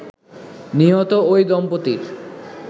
নিহত ঐ দম্পতির